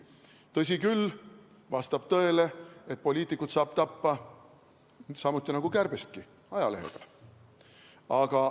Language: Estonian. Tõsi küll, vastab tõele, et poliitikut saab tappa samuti nagu kärbestki – ajalehega.